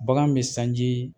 Bagan bɛ sanji